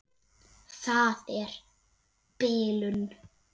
Það er bilun.